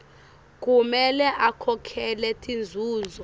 kumele akhokhele tinzuzo